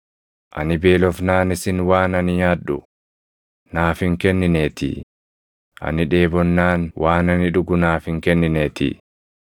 Ani beelofnaan isin waan ani nyaadhu naaf hin kennineetii; ani dheebonnaan waan ani dhugu naaf hin kennineetii;